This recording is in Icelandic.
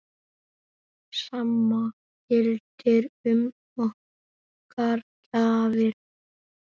Sama gildir um okkar gjafir.